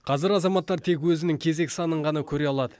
қазір азаматтар тек өзінің кезек санын ғана көре алады